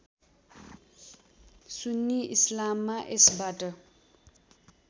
सुन्नी इस्लाममा यसबाट